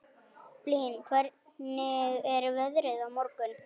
Blín, hvernig er veðrið á morgun?